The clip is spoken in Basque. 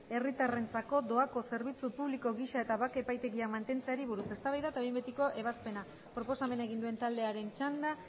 herritarrentzako doako zerbitzu publiko gisa eta bake epaitegiak mantentzeari buruz eztabaida eta behin betiko ebazpena proposamena egin duen taldearen txanda